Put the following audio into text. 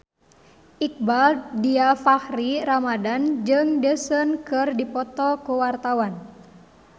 Iqbaal Dhiafakhri Ramadhan jeung Daesung keur dipoto ku wartawan